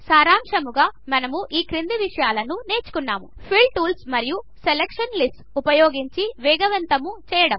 సారాంశముగా మనము ఈ క్రింది విషయాలను నేర్చుకున్నాము ఫిల్ టూల్స్ మరియు సెలక్షన్ లిస్ట్స్ ఉపయోగించి వేగవంతము చేయడము